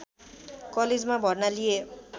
कलेजमा भर्ना लिए